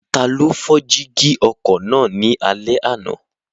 Taló fọ́ jígí ọkọ̀ náà ní alẹ́ àná?